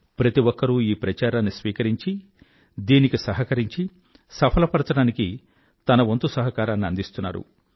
ప్రతి ఒక్కరూ ఈ ప్రచారాన్ని స్వీకరించి దీనికి సహకరించి సఫల పరచడానికి తన వంతు సహకారాన్ని అందిస్తున్నారు